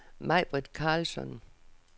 Maibritt Karlsson